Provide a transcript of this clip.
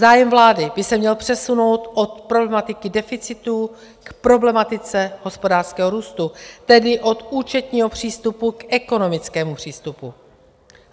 Zájem vlády by se měl přesunout od problematiky deficitu k problematice hospodářského růstu, tedy od účetního přístupu k ekonomickému přístupu.